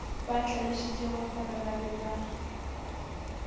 ba hlalošitšegore ba be ba